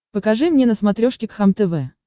покажи мне на смотрешке кхлм тв